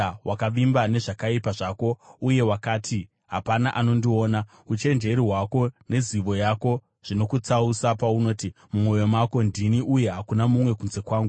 Wakavimba nezvakaipa zvako uye wakati, “Hapana anondiona.” Uchenjeri hwako nezivo yako zvinokutsausa paunoti, mumwoyo mako, “Ndini, uye hakuna mumwe kunze kwangu.”